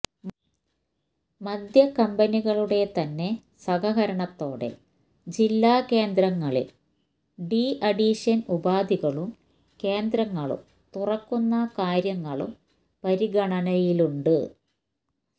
മദ്യകമ്പനികളുടെ ത്ന്നെ സഹകരണത്തോടെ ജില്ലാ കേന്ദ്രങ്ങളിൽ ഡീഅഡിക്ഷൻ ഉപാധികളും കേന്ദ്രങ്ങളും തുറക്കുന്ന കാര്യങ്ങളും പരിഗണനയിലുണ്ട്